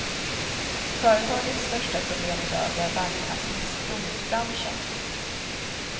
Företagets största problem idag är bankernas misstro mot branschen.